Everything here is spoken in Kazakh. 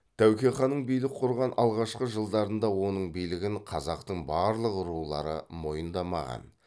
тәуке ханның билік құрған алғашқы жылдарында оның билігін қазақтың барлық рулары мойындамаған